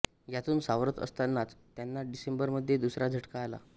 यातून सावरत असतांनाच त्यांना डिसेंबरमध्ये दुसरा झटका आला